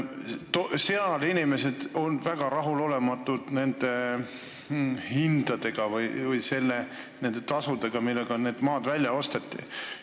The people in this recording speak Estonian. Seal on inimesed väga rahulolematud nende hindade või tasudega, millega need maad välja osteti.